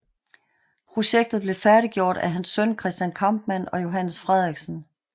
Projektet blev færdiggjort af hans søn Christian Kampmann og Johannes Frederiksen